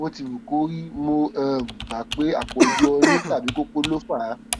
bó ti wù kó rí mo um gbà pé àpọjù ọyún tàbí kókó ló fà á